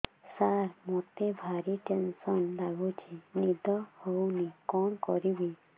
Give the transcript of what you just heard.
ସାର ମତେ ଭାରି ଟେନ୍ସନ୍ ଲାଗୁଚି ନିଦ ହଉନି କଣ କରିବି